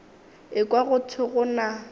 ekwa go thwe go na